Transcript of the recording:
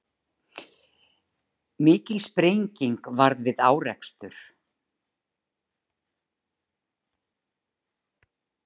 Mikil sprenging varð við árekstur